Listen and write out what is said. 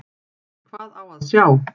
Hvað á að sjá?